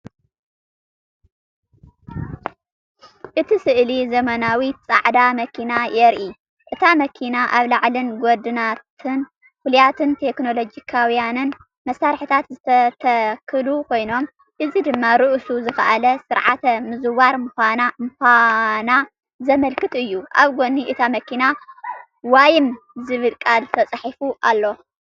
እቲ ስእሊ ዘመናዊት ጻዕዳ መኪና የርኢ። እታ መኪና ኣብ ላዕሊን ጎድናታን ፍሉያትን ቴክኖሎጂካውያንን መሳርሒታት ዝተተኽሉ ኮይኖም፡ እዚ ድማ ርእሱ ዝኸኣለ ስርዓተ ምዝዋር ምዃና ዘመልክት እዩ። ኣብ ጎኒ እታ መኪና “ዋይሞ” ዝብል ቃል ተጻሒፉ ኣሎ።